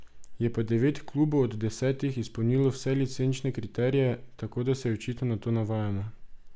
Je pa devet klubov od desetih izpolnilo vse licenčne kriterije, tako da se očitno na to navajamo.